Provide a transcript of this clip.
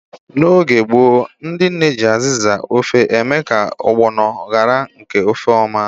N'oge gboo, ndị nne ji azịza ofe eme ka ọgbọnọ gbarie nke ọma n'ofe.